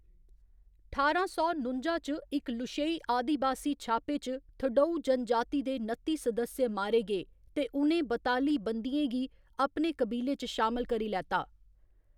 ठारां सौ नुंजा च, इक लुशेई आदिबासी छापे च थडोऊ जनजाति दे नत्ती सदस्य मारे गे ते उ'नें बताली बंदियें गी अपने कबीले च शामल करी लैता।